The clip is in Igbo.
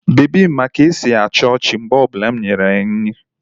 Bebi m ma ka-esi achi ochi mgbe o bula inyere ya nri.